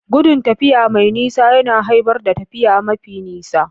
Gudun tafiya mai nisa yana haifar da tafiya mafi nisa.